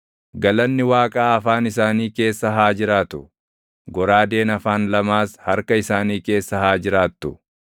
Galanni Waaqaa afaan isaanii keessa haa jiraatu; goraadeen afaan lamaas harka isaanii keessa haa jiraattu;